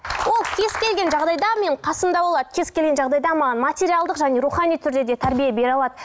ол кез келген жағдайда менің қасымда болады кез келген жағдайда маған материалдық және рухани түрде де тәрбие бере алады